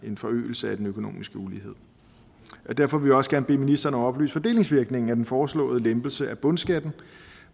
en forøgelse af den økonomiske ulighed derfor vil vi også gerne bede ministeren om at oplyse fordelingsvirkningen af den foreslåede lempelse af bundskatten